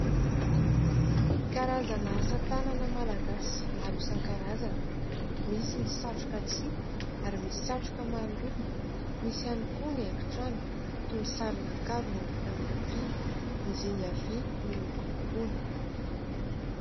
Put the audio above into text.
Karazana asatanana malagasy maro isankarazany misy ny satroka tsihy ary misy satroka maro loko, misy ihany koa ny haingo trano toin'ny saronankarona vita amin'ny rofia ny zinga vy nolokolokona.